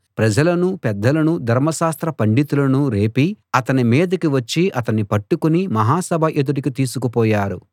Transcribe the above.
ప్రజలను పెద్దలను ధర్మ శాస్త్ర పండితులనూ రేపి అతని మీదికి వచ్చి అతణ్ణి పట్టుకుని మహాసభ ఎదుటికి తీసుకు పోయారు